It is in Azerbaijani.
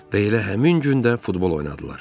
Və elə həmin gün də futbol oynadılar.